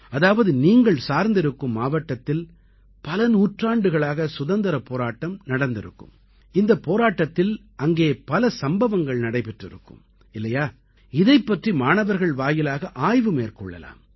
அதாவது நீங்கள் சார்ந்திருக்கும் மாவட்டத்தில் பல நூற்றாண்டுகளாக சுதந்திரப் போராட்டம் நடந்திருக்கும் இந்தப் போஎராட்டத்தில் அங்கே பல சம்பவங்கள் நடைபெற்றிருக்கும் இல்லையா இதைப் பற்றி மாணவர்கள் வாயிலாக ஆய்வு மேற்கொள்ளலாம்